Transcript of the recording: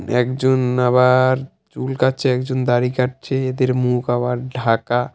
একজন আবার চুল কাটছে একজন দাড়ি কাটছে এদের মুখ আবার ঢাকা।